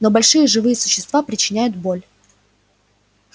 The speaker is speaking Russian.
но большие живые существа причиняют боль